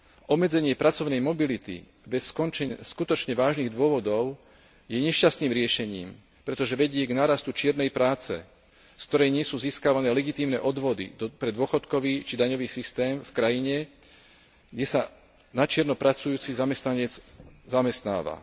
Obmedzenie pracovnej mobility bez skutočne vážnych dôvodov je nešťastným riešením, pretože vedie k nárastu čiernej práce, z ktorej nie sú získavané legitímne odvody pre dôchodkový či daňový systém v krajine, kde sa na čierno pracujúci zamestnanec zamestnáva.